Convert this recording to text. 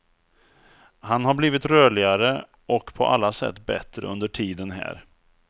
Han har blivit rörligare och på alla sätt bättre under tiden här.